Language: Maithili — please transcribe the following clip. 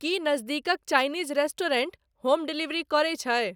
की नजदीकक चाइनीज रेस्टुरेंट होम डिलेवरी करै छई